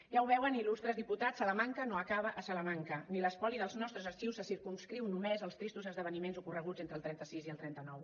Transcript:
ja ho veuen il·lustres diputats salamanca no acaba a salamanca ni l’espoli dels nostres arxius se circumscriu només als tristos esdeveniments ocorreguts entre el trenta sis i el trenta nou